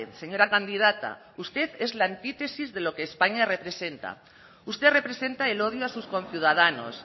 señora candidata usted es la antítesis de lo que españa representa usted representa el odio a sus conciudadanos